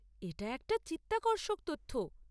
এটা একটা চিত্তাকর্ষক তথ্য।